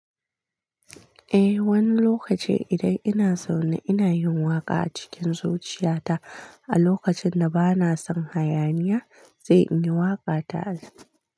Eh, wani lokaci idan ina so na, ina yin waƙa a cikin zuciyata a lokacin da bana son hayaniya, sai in yi waƙa ta al'ada.